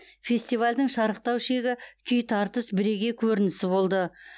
фестивальдің шарықтау шегі күй тартыс бірегей көрінісі болды